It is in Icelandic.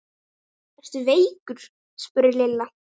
Ertu veikur? spurði Lilla.